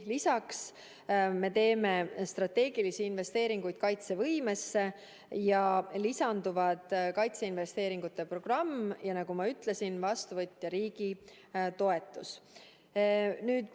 Lisaks me teeme strateegilisi investeeringuid kaitsevõimesse, lisanduvad kaitseinvesteeringute programm ja ka vastuvõtva riigi toetus.